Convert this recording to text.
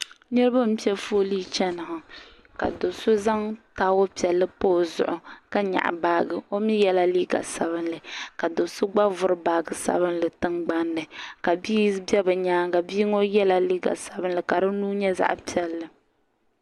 niraba n piɛ foolii chɛni ŋɔ ka do so zaŋ taawul piɛlli pobi o zuɣu ka nyaɣa baaji o mii yɛla liiga sabinli ka do so gba vuri baaji sabinli tingbanni ka bia bɛ bi nyaanga bia ŋɔ yɛla liiga sabinli ka di nuu nyɛ zaɣ piɛlli